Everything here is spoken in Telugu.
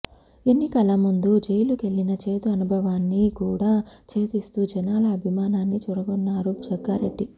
ఎన్నికల ముందు జైలుకెళ్లిన చేదు అనుభవాన్ని కూడా ఛేదిస్తూ జనాల అభిమానాన్ని చూరగొన్నారు జగ్గారెడ్డి